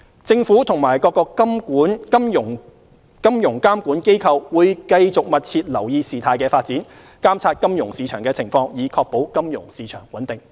政府和各金融監管機構會繼續密切留意事態發展，監察金融市場情況，以確保金融市場穩定。